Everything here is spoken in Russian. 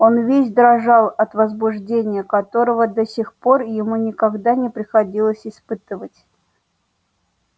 он весь дрожал от возбуждения которого до сих пор ему никогда не приходилось испытывать